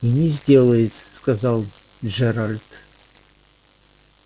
и не сделает сказал джералд